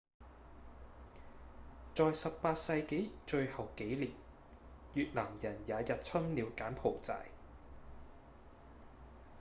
在18世紀最後幾年越南人也入侵了柬埔寨